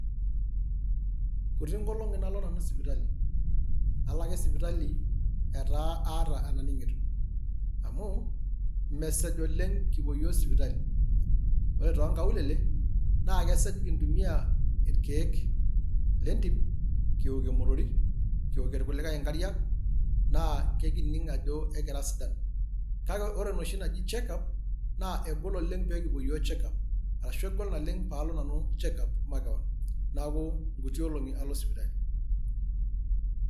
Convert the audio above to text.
kuti inkolongi nalo nanu sipitali, alo ake sipitali etaa ataa enaningito. amu mesej oleng kipuo iyiook sipitali. ore too nkaulele naa kesej, kintumia irkeek lentim, kiwokir imotorik, kiwokie irkulikae inkariak naa ekining ajo kira sidan. kake ore enoshi nikijo check up, naa kegol oleng pee kipuo iyiook check up ashu egol oleng pee al o nanu check up makewon. neeku inkuti olongi alo nanu sipitali.